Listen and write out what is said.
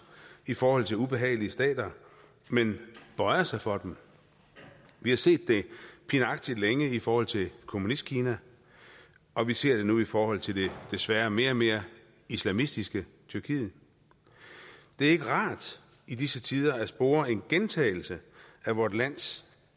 i forhold til ubehagelige stater men bøjede sig for dem vi har set det pinagtigt længe i forhold til kommunistkina og vi ser det nu i forhold til det desværre mere og mere islamistiske tyrkiet det er ikke rart i disse tider at spore en gentagelse af vores lands